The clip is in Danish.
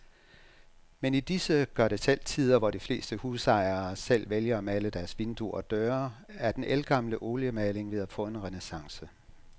Men i disse gørdetselvtider, hvor de fleste husejere selv vælger at male deres vinduer og døre, er den ældgamle oliemaling ved at få en renæssance.